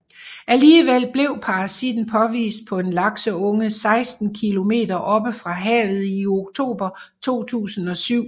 Alligevel blev parasitten påvist på en lakseunge 16 kilometer oppe fra havet i oktober 2007